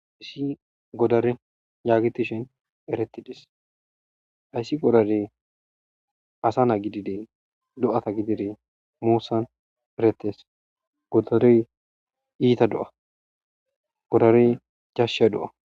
Issi godare yaagetishin eretides hayssi godarey asa naa gidide do'ata gidide muusan eretes godorey iita do'a godarey jashsha do'a.